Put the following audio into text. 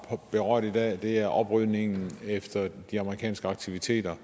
har berørt i dag og det er oprydningen efter de amerikanske aktiviteter